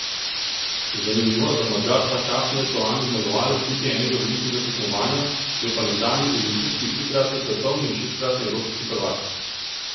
Zanimivo, da Madžar ta čas ni aktualni zmagovalec niti enega velikega tekmovanja, je pa nekdanji olimpijski, trikratni svetovni in šestkratni evropski prvak.